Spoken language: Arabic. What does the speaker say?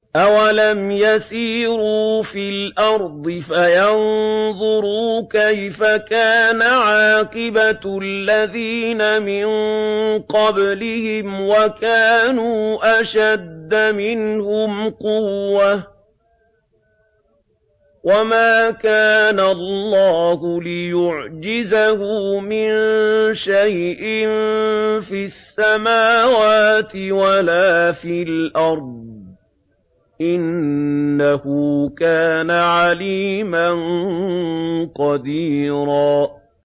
أَوَلَمْ يَسِيرُوا فِي الْأَرْضِ فَيَنظُرُوا كَيْفَ كَانَ عَاقِبَةُ الَّذِينَ مِن قَبْلِهِمْ وَكَانُوا أَشَدَّ مِنْهُمْ قُوَّةً ۚ وَمَا كَانَ اللَّهُ لِيُعْجِزَهُ مِن شَيْءٍ فِي السَّمَاوَاتِ وَلَا فِي الْأَرْضِ ۚ إِنَّهُ كَانَ عَلِيمًا قَدِيرًا